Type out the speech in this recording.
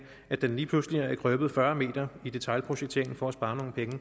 at den lige pludselig er krøbet fyrre meter i detailprojekteringen for at spare nogle penge